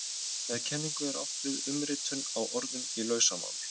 Með kenningu er átt við umritun á orðum í lausamáli.